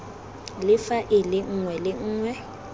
le faele nngwe le nngwe